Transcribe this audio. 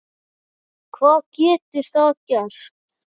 Hvað getur það gert?